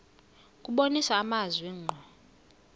kubonisa amazwi ngqo